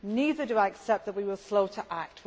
Neither do I accept that we were slow to act.